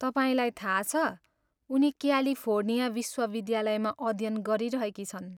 तपाईँलाई थाहा छ, उनी क्यालिफोर्निया विश्वविद्यालयमा अध्य्यन गरिरहेकी छिन्।